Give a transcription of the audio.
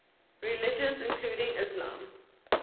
religions including islam